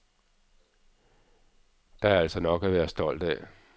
Der er altså nok at være stolt af.